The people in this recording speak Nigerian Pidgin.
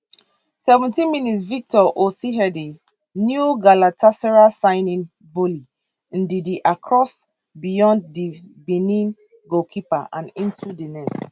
seventeen mins victor osimhendi new galatasaray signing volley ndidi cross beyond di benin goalkeeper and into di net